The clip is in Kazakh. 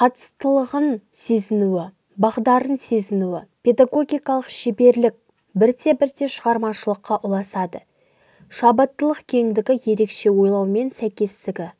қатыстылығын сезінуі бағдарын сезінуі педагогикалық шеберлік бірте-бірте шығармашылыққа ұласады шабыттылық кеңдігі ерекше ойлаумен сәйкестігі